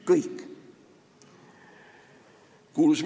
Kõik!